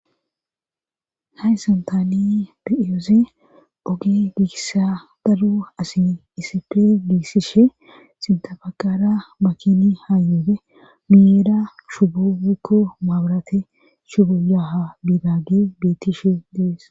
hayssan taani biiyoose oge giiissa dalu asi isip giissishe sintafaqara makini haayyuude miyeera shubukku maabarate shubuyaha biidagi betishe dees